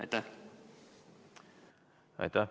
Aitäh!